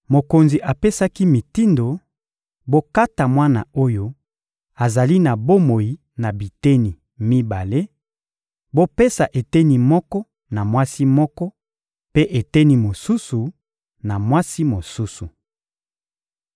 Mokonzi apesaki mitindo: — Bokata mwana oyo azali na bomoi na biteni mibale, bopesa eteni moko na mwasi moko; mpe eteni mosusu, na mwasi mosusu.